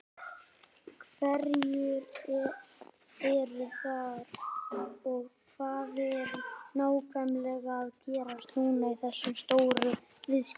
Hverjir eru þar og hvað er nákvæmlega að gerast núna í þessum stóru viðskiptum?